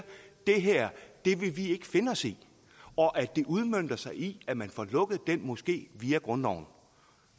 det her vil vi ikke finde os i og at det udmønter sig i at man får lukket den moské via grundloven